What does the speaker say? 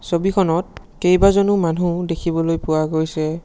ছবিখনত কেইবাজনো মানুহ দেখিবলৈ পোৱা গৈছে।